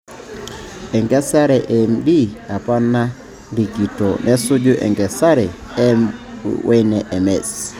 Enkesare e MD apa narikito nesuju enkesare e M wene MS.